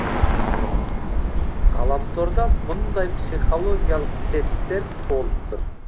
ғаламторда мұндай психологиялық тесттер толып тұр